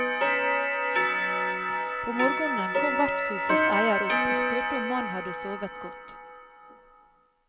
På morgenen kom vertshusets eier opp og spurte om mannen hadde sovet godt.